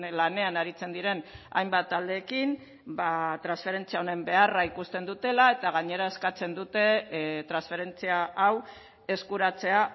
lanean aritzen diren hainbat taldeekin ba transferentzia honen beharra ikusten dutela eta gainera eskatzen dute transferentzia hau eskuratzea